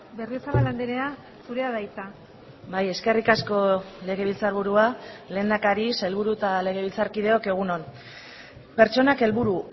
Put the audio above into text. berriozabal andrea zurea da hitza bai eskerrik asko legebiltzarburua lehendakari sailburu eta legebiltzarkideok egun on pertsonak helburu